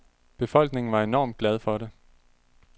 Befolkningen var enormt glad for det.